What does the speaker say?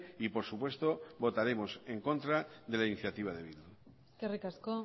y por supuesto votaremos en contra de la iniciativa de bildu eskerrik asko